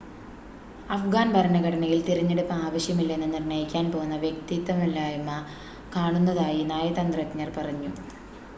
അഫ്ഗാൻ ഭരണഘടനയിൽ തിരഞ്ഞെടുപ്പ് ആവശ്യമല്ലെന്ന് നിർണ്ണയിക്കാൻ പോന്ന വ്യക്തതയില്ലായ്‌മ കാണുന്നതായി നയതന്ത്രജ്ഞർ പറഞ്ഞു